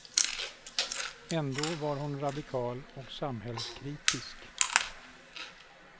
Ändå var hon radikal och samhällskritisk.